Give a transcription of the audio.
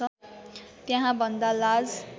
त्यहाँ भन्दा लाज